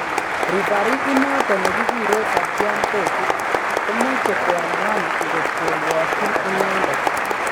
Referee inoto ne keguree Satyam Toki komeche koamuan ngot koruokchin inendet.